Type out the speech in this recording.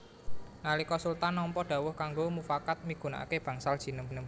Nalika Sultan nampa dhawuh kanggo mufakat migunakaké Bangsal Jinem